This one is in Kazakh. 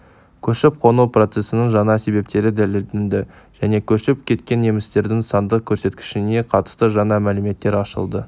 көшіп-қону процесінің жаңа себептері дәлелденді және көшіп кеткен немістердің сандық көрсеткішіне қатысты жаңа мәліметтер ашылды